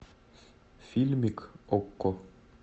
фильмик окко